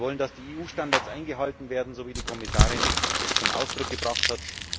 Wir wollen, dass die EU Standards eingehalten werden, so wie die Kommissarin dies zum Ausdruck gebracht hat.